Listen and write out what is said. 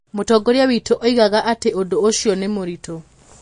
Mũtongoria witũ oigaga atĩ ũndũ ũcio ti mũritũ.